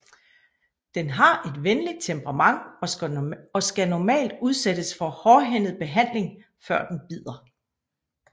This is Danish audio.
Den har et venligt temperament og skal normalt udsættes for hårdhændet behandling før den bider